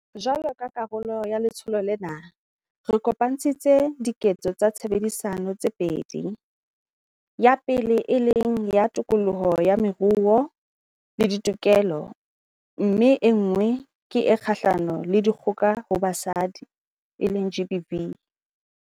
Jwalo ka karolo ya letsholo lena, re kopantshitse 'Diketso tsa Tshebedisano' tse pedi, ya pele e leng ya tokoloho ya moruo le ditokelo mme enngwe ke e kgahlano le dikgoka ho basadi, GBV.